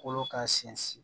Kolo ka sinsin